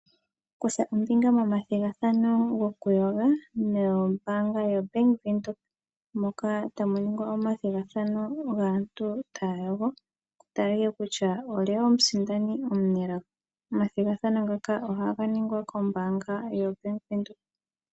Kutha ombinga momathigathano gokuyoga nombaanga yo Bank Windhoek moka ta mu ningwa omathigathano gaantu ta ya yogo ku taliwe kutya olye omusindani omunelago. Omathigathano ngaka oha ga ningwa kombaanga yo Bank windhoek.